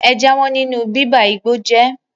Ẹ jáwọ́ nínú bíba igbó jẹ́!